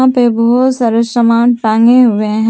उनपे बहुत सारा सामान टांगे हुए हैं।